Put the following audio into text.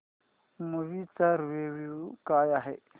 movie चा review काय आहे